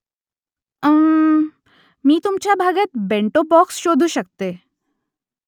उम्म्मम्म . मी तुमच्या भागात बेंटो बॉक्स शोधू शकते